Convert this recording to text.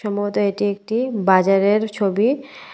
মূলত এটি একটি বাজারের ছবি।